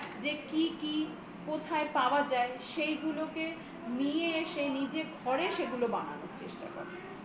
কি কি কোথায় পাওয়া যায় সেইগুলোকে নিয়ে এসে নিজে ঘরে সেগুলোকে বানানোর চেষ্টা কর